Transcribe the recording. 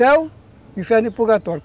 Céu, inferno e purgatório.